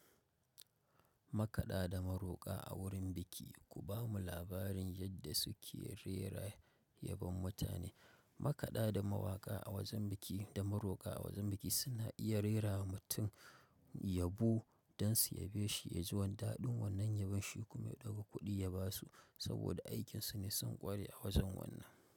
Makaɗa da maroƙa a wurin biki kubamu labarin yadda suke rera yaban mutane makada da mawaƙa a wajen biki da maroka a wajen biki suna iya rera wa mutum yabo don su yabe shi ya ji wandaɗi wannan yabon shi kuma ya ɗauka kuɗi ya ba su saboda aikinsu ne sun ƙware a wajen wannan.